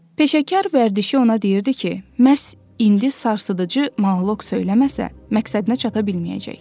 Peşəkar vərdişi ona deyirdi ki, məhz indi sarsıdıcı monoq söyləməsə, məqsədinə çata bilməyəcək.